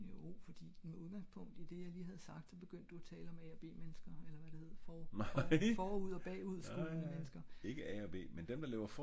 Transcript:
jo med udgangspunkt i det jeg lige har sagt der begyndte du tale om a og b mennesker eller hvad det hed for forud og bagud skolen af mennesker